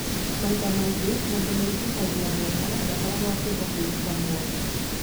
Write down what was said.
Maita maingĩ mũndũ wĩtihagia mwene ndakoragwo akĩenda kwĩruta mũoyo.